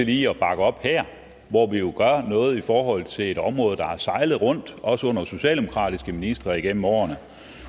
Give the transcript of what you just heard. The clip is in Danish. lige bakke op her hvor vi jo gør noget i forhold til et område der har sejlet rundt også under socialdemokratiske ministre igennem årene